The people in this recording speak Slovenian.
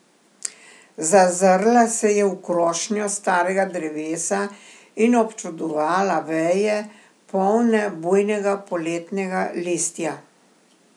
Zazrla se je v krošnjo starega drevesa in občudovala veje, polne bujnega poletnega listja.